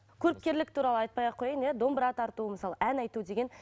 көріпкерлік туралы айтпай ақ қояйын иә домбыра тарту мысалы ән айту деген